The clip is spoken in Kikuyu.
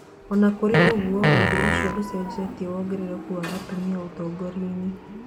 Ona kũrĩ o ũguo, ũndũ ũcio ndũcenjetie wongerereku wa atumia ũtongoria-inĩ.